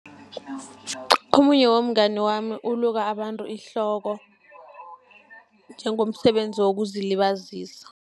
Omunye womngani wami uluka abantu ihloko, njengomsebenzi wokuzilibazisa.